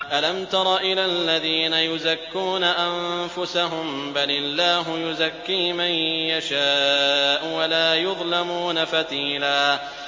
أَلَمْ تَرَ إِلَى الَّذِينَ يُزَكُّونَ أَنفُسَهُم ۚ بَلِ اللَّهُ يُزَكِّي مَن يَشَاءُ وَلَا يُظْلَمُونَ فَتِيلًا